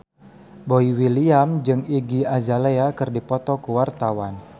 Boy William jeung Iggy Azalea keur dipoto ku wartawan